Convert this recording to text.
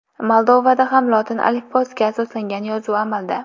Moldovada ham lotin alifbosiga asoslangan yozuv amalda.